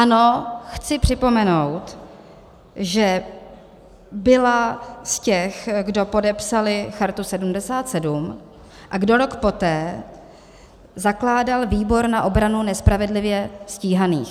Ano, chci připomenout, že byla z těch, kdo podepsali Chartu 77 a kdo rok poté zakládal Výbor na obranu nespravedlivě stíhaných.